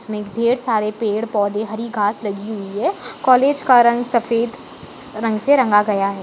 इसमें ढेर सारे पेड़-पौधे हरी घास लगी हुई है कॉलेज का रंग सफ़ेद रंग से रंगा गया है।